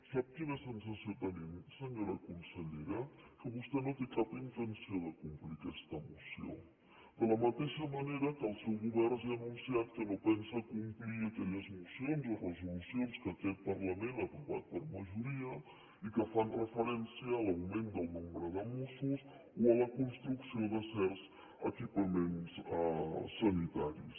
sap quina sensació tenim senyora consellera que vostè no té cap intenció de complir aquesta moció de la mateixa manera que el seu govern ja ha anunciat que no pensa complir aquelles mocions o resolucions que aquest parlament ha aprovat per majoria i que fan referència a l’augment del nombre de mossos o a la construcció de certs equipaments sanitaris